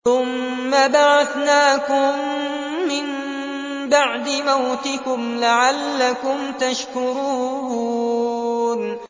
ثُمَّ بَعَثْنَاكُم مِّن بَعْدِ مَوْتِكُمْ لَعَلَّكُمْ تَشْكُرُونَ